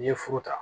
N'i ye furu ta